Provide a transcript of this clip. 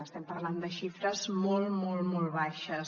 estem parlant de xifres molt molt molt baixes